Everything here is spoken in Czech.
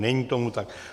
Není tomu tak.